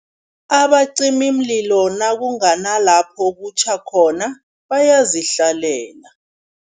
Abacimimlilo nakungena lapho okutjha khona, bayazihlalela.